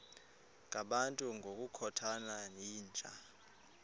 ngabantu ngokukhothana yinja